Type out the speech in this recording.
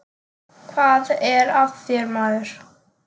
Hvað er að þér, maður?